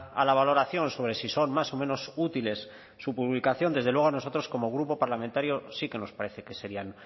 a la valoración sobre si son más o menos útiles su publicación desde luego a nosotros como grupo parlamentario sí que nos parece que serían